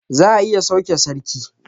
Za a iya sauke sarki